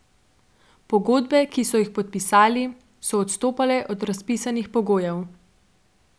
Pogodbe, ki so jih podpisali, so odstopale od razpisnih pogojev.